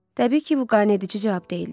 Təbii ki, bu qaneedici cavab deyildi.